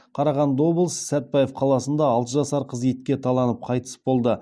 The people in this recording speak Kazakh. қарағанды облысы сәтбаев қаласында алты жасар қыз итке таланып қайтыс болды